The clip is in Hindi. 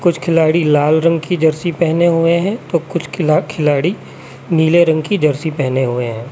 कुछ खिलाड़ी लाल रंग की जर्सी पहने हुए हैं तो कुछ खिला खिलाड़ी नीले रंग की जर्सी पहने हुए हैं।